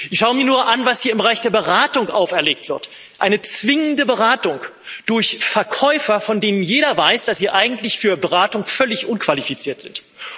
Ich schaue mir nur an, was hier im Bereich der Beratung auferlegt wird eine zwingende Beratung durch Verkäufer, von denen jeder weiß, dass sie eigentlich für Beratung völlig unqualifiziert sind.